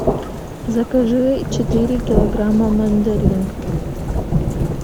закажи четыре килограмма мандарин